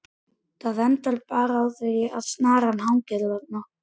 Það endar bara með því að snaran hangir þarna!